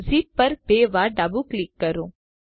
zip પર બે વાર ડાબું ક્લિક કરો